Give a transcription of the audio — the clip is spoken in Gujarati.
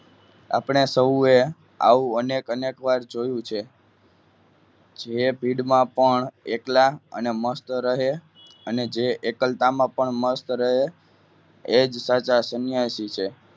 આપણે સૌએ આવું અનેક અનેકવાર જોયુ છ જે ભીડમાં પણ એકલા અને મસ્ત રહે અને જે કરતામાં પણ મસ્ત રહે એ જ સાચા સંન્યાસી છે